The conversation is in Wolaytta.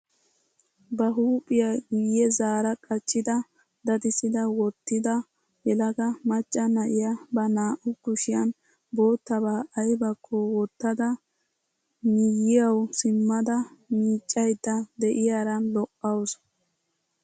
Ba huuphphiyaa guye zaara qachchida dadisada wottida yelaga macca na'iyaa ba naa"u kushiyaan bottabaa aybakko wottada miyiyawu simmada miiccayida de'iyaara lo"awus.